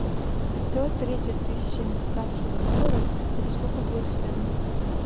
сто тридцать тысяч американских долларов это сколько будет в тенге